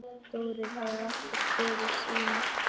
Þórir hafði alltaf stóra sýn.